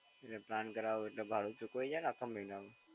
એટલ plan કરવો એટલે ભાડું ચૂકવાઈ જાય ને આખા મહિનાનું?